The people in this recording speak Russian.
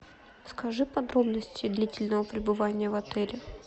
скажи подробности длительного пребывания в отеле